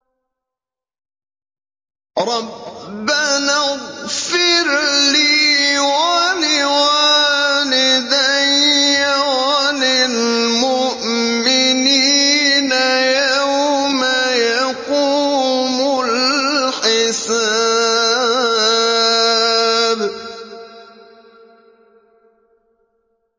رَبَّنَا اغْفِرْ لِي وَلِوَالِدَيَّ وَلِلْمُؤْمِنِينَ يَوْمَ يَقُومُ الْحِسَابُ